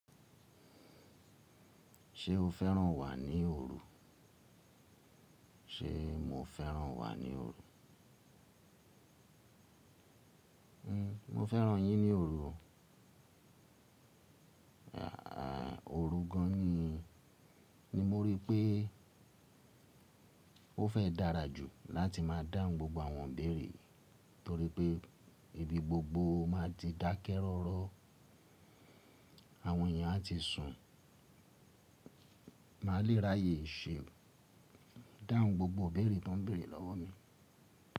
Ṣé o fẹ́ràn wà ní òru? Ṣé mo fẹ́ràn wà ní òru? N, mo fẹ́ràn yín ní òru. Àà, òru gan ni, ni mo rí pé ó fẹ́ dára jù láti máa dáhùn gbogbo àwọn ìbèèrè torí pé ibi gbogbo máa ti dákẹ́ rọ́rọ́. Àwọn èèyàn á ti sùn. Màá le raàyè ṣe dáhùn gbogbo ìbèèrè tó n béèrè lọ́wọ́ mi.